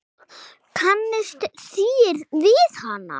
Kannist þér við hana?